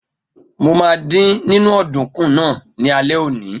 Mo ma dín nínú ọ̀dùnkún náà ní alẹ́ òní.